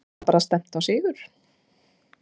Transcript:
Þannig að það er bara stefnt á sigur?